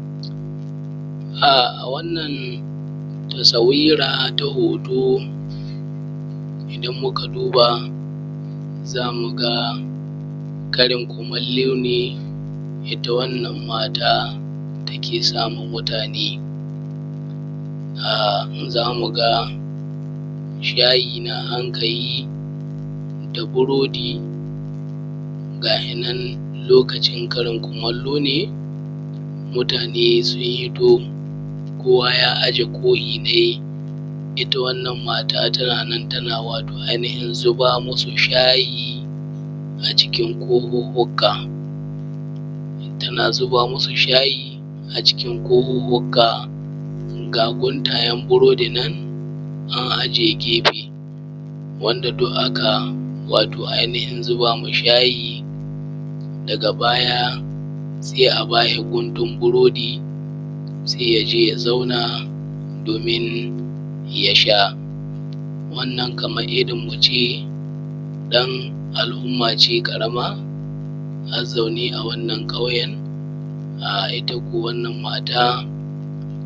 A wannan hoton shi kuma idan Mukai la’akari dashi wato ai nihin matan gida ce wadda take wato ai nihin sama iyyali abinci iaylin gidanta ‘ya’’yan’ta wa ‘yan’da ta Haifa ga yinan lokacin wato ai nihin Karin kumallo na safe yayi. Ga kohuhhuka nan an ɗebo an aje gehe wato ai nihin shi buridin nan ko muce dankali wanda aka ɗebo ga shinan an aje to tana nan tana zuba shayi a cikin kohuhhuka ga guntayen burodi nan wanda duk aka wato ai nihin zubama shayi daga baya sai a bashi guntun biredi sai yaje ya zauna domin yasha wannan Kaman irrin muce dan al ummace ƙarama mazauni a wannan ƙauyen itta kuwa wannan mata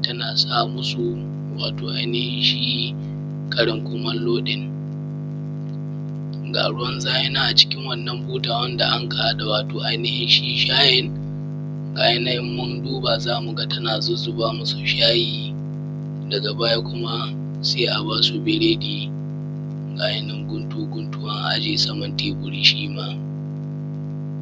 tana samusu wato ai nihin sgi Karin kumallo ɗin ga ruwan zahinan a cikin shi buta wanda aka wannan shi shayin ga yinan in mundu ba zamuga tana zuzzuba masu shayi daga baya kuma sai a basu biredi gayinan ta gutsura su guntu guntu.